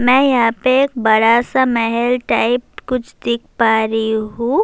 می یھاں پی بڑا سا محل ٹائپ کچھ دیکھ پا رہی ہو-